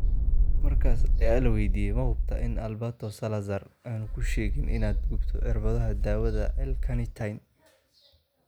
markaas ayaa la waydiiyay: "Ma hubtaa in Alberto Salazar aanu kuu sheegin inaad gubto cirbadaha daawada L-carnitine?"